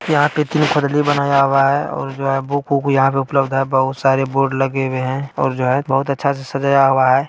यहाँ पे तीन बनाया हुआ है और जो है बुक वूक यह पे उपलब्ध है बहुत सारे बोर्ड लगे हुए है और जो है बहुत अच्छे से सजाया हुआ है |